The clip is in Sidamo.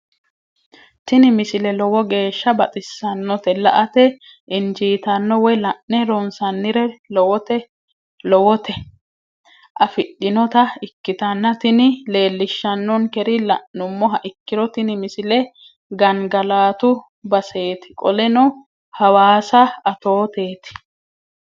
tini misile lowo geeshsha baxissannote la"ate injiitanno woy la'ne ronsannire lowote afidhinota ikkitanna tini leellishshannonkeri la'nummoha ikkiro tini misile gangalatu baseeti qoleno hawassa atooteeti.